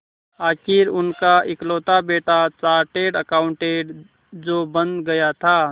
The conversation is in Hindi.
आखिर उनका इकलौता बेटा चार्टेड अकाउंटेंट जो बन गया था